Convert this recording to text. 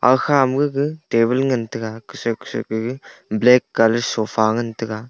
aga kha ma gaga table ngan tega kusoi kusoi ke gaga black colour ngan tega.